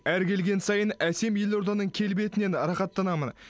әр келген сайын әсем елорданың келбетінен рахаттанамын